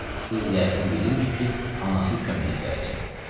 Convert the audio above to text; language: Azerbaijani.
Qız yəqin bilirmış ki, anası köməyə gələcək.